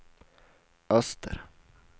öster